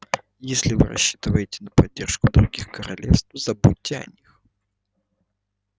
если вы рассчитываете на поддержку других королевств забудьте о них